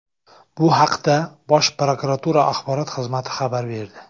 Bu haqda Bosh prokuratura axborot xizmati xabar berdi .